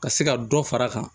Ka se ka dɔ fara a kan